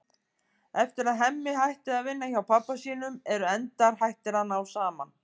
Eftir að Hemmi hætti að vinna hjá pabba sínum eru endar hættir að ná saman.